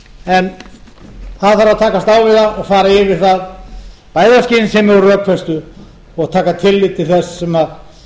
en það þarf að takast á við það og fara yfir það bæði af skynsemi og rökfestu og taka tillit til þess sem